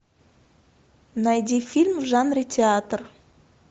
найди фильм в жанре театр